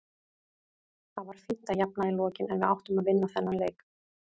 Það var fínt að jafna í lokin en við áttum að vinna þennan leik.